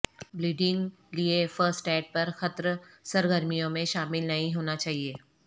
bleeding لئے first aid پرخطر سرگرمیوں میں شامل نہیں ہونا چاہئے